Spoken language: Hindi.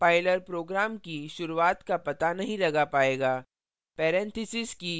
अन्यथा compiler program की शुरुआत का पता नहीं लगा पाएगा